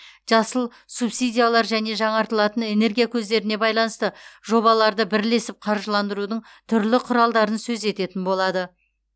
жасыл субсидиялар және жаңартылатын энергия көздеріне байланысты жобаларды бірлесіп қаржыландырудың түрлі құралдарын сөз ететін болады